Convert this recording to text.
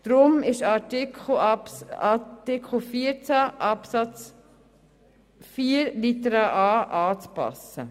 Darum ist Artikel 14 Absatz 4 Buchstabe a anzupassen.